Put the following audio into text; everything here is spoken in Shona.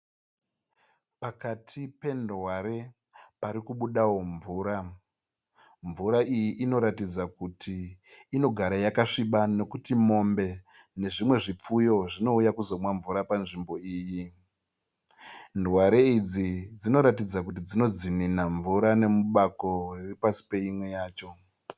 Pakati pendware pari kubudawo mvura. Mvura iyi inoratidza kuti inogara yakasviba nokuti mombe nezvimwe zvipfuyo zvinouya kuzomwa mvura panzvimbo iyi. Ndware idzi dzinoratidza kuti dzino dzinina mvura nemubako riri pasi peimwe yacho.